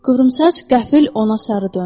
Qıvrımsaç qəfil ona sarı döndü.